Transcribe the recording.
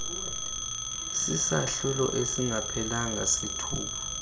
sesahlulo esingaphelanga sethuba